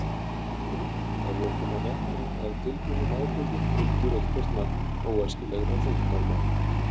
Að lokum má nefna að tilbúnum áburði fylgir eitthvert magn óæskilegra þungmálma.